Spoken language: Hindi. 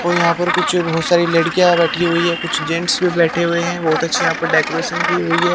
को यहाँ पर कुछ बहुत सारी लड़कियां बैठी हुई है कुछ जेंट्स भी बैठे हुए हैं बहुत अच्छी यहाँ पर डेकोरेशन की हुई है।